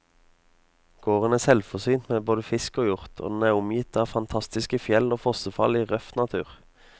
Gården er selvforsynt med både fisk og hjort, og den er omgitt av fantastiske fjell og fossefall i røff natur.